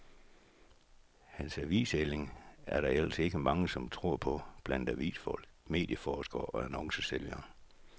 Hans avisælling er der ellers ikke mange, som tror på blandt avisfolk, medieforskere og annoncesælgere.